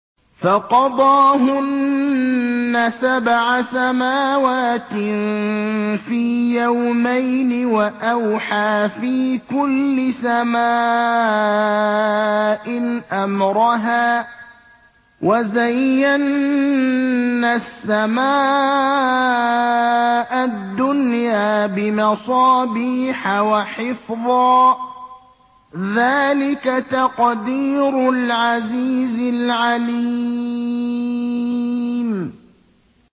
فَقَضَاهُنَّ سَبْعَ سَمَاوَاتٍ فِي يَوْمَيْنِ وَأَوْحَىٰ فِي كُلِّ سَمَاءٍ أَمْرَهَا ۚ وَزَيَّنَّا السَّمَاءَ الدُّنْيَا بِمَصَابِيحَ وَحِفْظًا ۚ ذَٰلِكَ تَقْدِيرُ الْعَزِيزِ الْعَلِيمِ